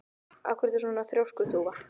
Af hverju ertu svona þrjóskur, Þúfa?